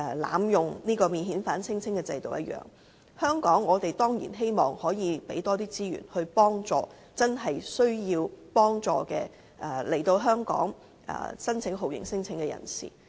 例如免遣返聲請制度，我們當然希望可以提供更多資源，幫助來到香港真正需要申請酷刑聲請的人。